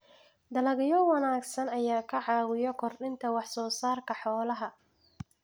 Dalagyo wanaagsan ayaa ka caawiya kordhinta wax soo saarka xoolaha.